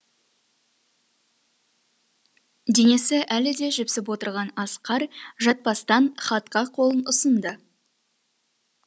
денесі әлі де жіпсіп отырған асқар жатпастан хатқа қолын ұсынды